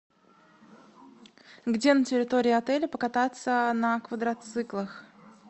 где на территории отеля покататься на квадроциклах